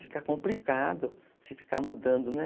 Fica complicado você ficar mudando, né?